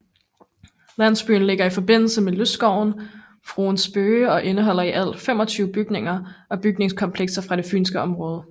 Landsbyen ligger i forbindelse med lystskoven Fruens Bøge og indeholder i alt 25 bygninger og bygningskomplekser fra det fynske område